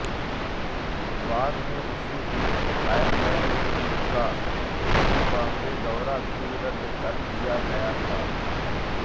बाद में उसी दिन आयरलैंड का जिम्बाब्वे दौरा भी रद्द कर दिया गया था